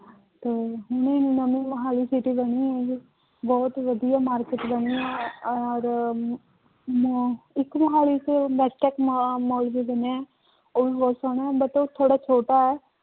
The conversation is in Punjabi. ਤੇ ਨਵੀਂ ਮੁਹਾਲੀ city ਬਣੀ ਹੈ ਇਹ, ਬਹੁਤ ਵਧੀਆ market ਬਣੀ ਹੈ ਔਰ ਮ ਇੱਕ ਮੁਹਾਲੀ ਚ ਮ ਮਾਲ ਵੀ ਬਣਿਆ ਹੈ ਉਹ ਵੀ ਬਹੁਤ ਸੋਹਣੇ ਹੈ but ਉਹ ਥੋੜ੍ਹਾ ਛੋਟਾ ਹੈ।